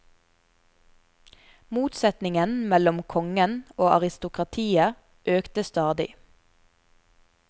Motsetningen mellom kongen og aristokratiet økte stadig.